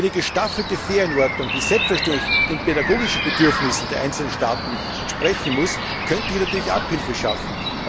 Eine gestaffelte Ferienordnung, die selbstverständlich den pädagogischen Bedürfnissen der einzelnen Staaten entsprechen muss, könnte hier natürlich Abhilfe schaffen.